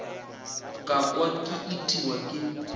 ka kwa ke itiwa ke